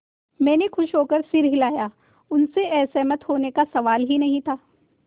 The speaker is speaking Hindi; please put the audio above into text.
मैंने खुश होकर सिर हिलाया उनसे असहमत होने का सवाल ही नहीं था